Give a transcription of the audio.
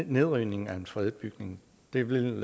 nedrivning af en fredet bygning det vil